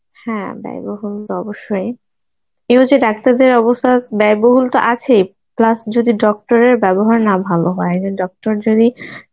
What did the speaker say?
হ্যাঁ ব্যয়বহুল তো অবশ্যই. এবার যে ডাক্তারদের অবস্থা, ব্যয়বহুল তো আছেই plus যদি doctor এর ব্যবহার না ভালো হয় মানে doctor যদি